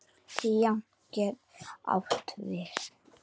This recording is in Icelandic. Þýðandi getur átt við